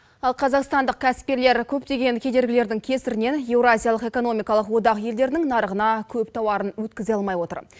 ал қазақстандық кәсіпкерлер көптеген кедергілердің кесірінен еуразиялық экономикалық одақ елдерінің нарығына көп тауарын өткізе алмай отыр